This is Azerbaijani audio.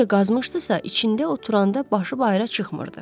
Necə qazmışdısa, içində oturanda başı bayıra çıxmırdı.